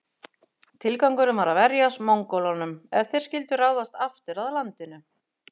Tilgangurinn var að verjast Mongólunum ef þeir skyldu ráðast aftur að landinu.